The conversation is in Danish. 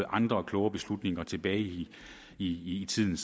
andre kloge beslutninger tilbage i i tiden